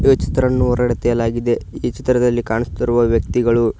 ಈ ಚಿತ್ರನ್ನು ಹೊರಡೆ ತೆಗೆಯಲಾಗಿದೆ ಈ ಚಿತ್ರದಲ್ಲಿ ಕಾಣಸ್ತಿರುವ ವ್ಯಕ್ತಿಗಳು--